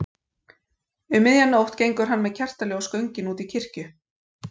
Um miðja nótt gengur hann með kertaljós göngin út í kirkju.